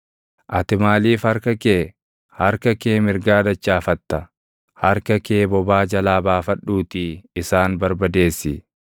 Ati maaliif harka kee, harka kee mirgaa dachaafatta? Harka kee bobaa jalaa baafadhuutii isaan barbadeessi!